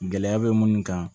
Gɛlɛya bɛ munnu kan